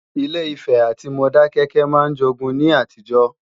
Ilé-Ifè àti Modákẹ́kẹ́ máa ń jogun ní àtijọ́